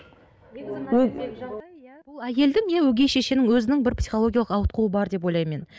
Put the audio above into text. әйелдің иә өгей шешенің өзінің бір психологиялық ауытқуы бар деп ойлаймын мен